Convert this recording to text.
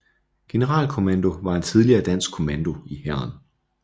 Generalkommando var en tidligere dansk kommando i Hæren